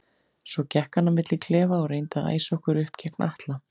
Svo gekk hann á milli klefa og reyndi að æsa okkur upp gegn Atla.